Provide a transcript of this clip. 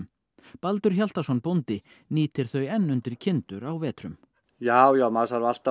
Baldur Hjaltason bóndi nýtir þau enn undir kindur á vetrum já já maður þarf alltaf